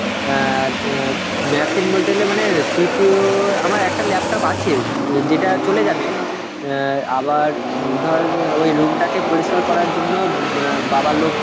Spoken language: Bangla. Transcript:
অ্যাঁর ও machine বলতে গেলে মানে CPU আমার একটা laptop আছে, অ্যাঁ যেটা চলে যাবে. অ্যাঁ আবার উম ধর ওই room টাকে পরিষ্কার করার জন্য অ্যাঁ বাবা লোক